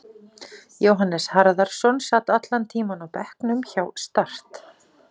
Jóhannes Harðarson sat allan tímann á bekknum hjá Start.